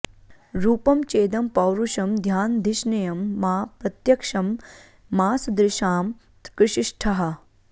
रूपं चेदं पौरुषं ध्यानधिष्ण्यं मा प्रत्यक्षं मांसदृशां कृषीष्ठाः